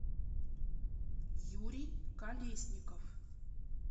юрий колесников